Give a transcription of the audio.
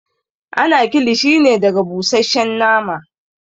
Ana kilishi ne daga busasshen nama